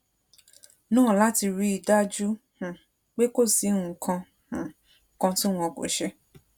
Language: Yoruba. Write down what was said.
náà láti rí i dájú um pé kò sí nǹkan um kan tí wọn kò ṣe